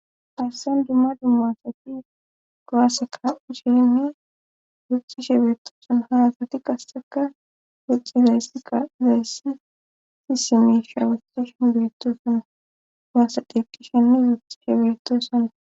assen dumma dummasati goaaseka usheni guxxi shebeetosona halasati qasseka goxxi zayssika zayssi si simisha wuxxi shen beettoson waasadeqqishenne guxxi shebertossona